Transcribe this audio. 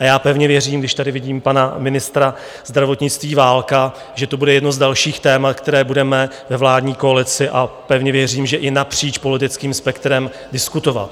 A já pevně věřím, když tady vidím pana ministra zdravotnictví Válka, že to bude jedno z dalších témat, která budeme ve vládní koalici, a pevně věřím, že i napříč politickým spektrem, diskutovat.